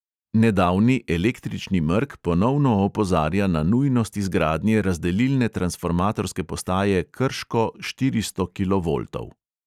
Nedavni električni mrk ponovno opozarja na nujnost izgradnje razdelilne transformatorske postaje krško štiristo kilovoltov.